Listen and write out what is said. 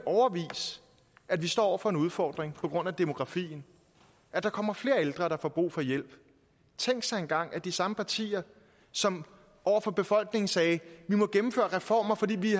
at vi står over for en udfordring på grund af demografien at der kommer flere ældre der får brug for hjælp tænk sig engang at de samme partier som over for befolkningen sagde vi må gennemføre reformer fordi vi